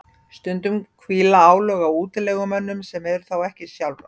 stundum hvíla álög á útilegumönnunum sem er þá ekki sjálfrátt